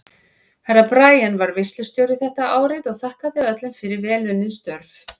Herra Brian var veislustjóri þetta árið og þakkaði öllum fyrir vel unnin störf.